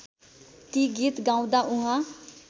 ती गीत गाउँदा उहाँ